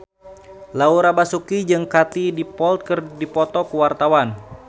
Laura Basuki jeung Katie Dippold keur dipoto ku wartawan